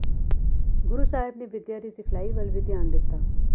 ਗੁਰੂ ਸਾਹਿਬ ਨੇ ਵਿਦਿਆ ਦੀ ਸਿਖਲਾਈ ਵੱਲ ਵੀ ਧਿਆਨ ਦਿੱਤਾ